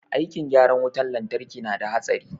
Aikin gyaran wutan lantraki na da hatsari